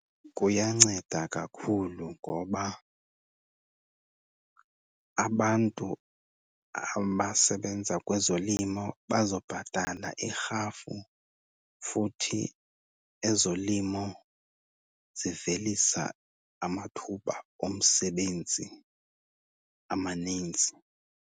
Kuyanceda kakhulu ngoba abantu abasebenza kwezolimo bazobhatala irhafu, futhi ezolimo zivelisa amathuba omsebenzi amaninzi.